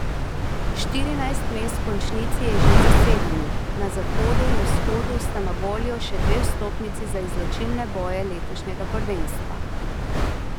Štirinajst mest v končnici je že zasedenih, na zahodu in vzhodu sta na voljo še dve vstopnici za izločilne boje letošnjega prvenstva.